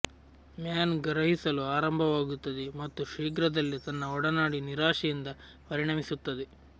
man ಗ್ರಹಿಸಲು ಆರಂಭವಾಗುತ್ತದೆ ಮತ್ತು ಶೀಘ್ರದಲ್ಲೇ ತನ್ನ ಒಡನಾಡಿ ನಿರಾಶೆಯಿಂದ ಪರಿಣಮಿಸುತ್ತದೆ